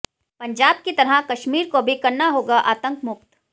पंजाब की तरह कश्मीर को भी करना होगा आतंक मुक्त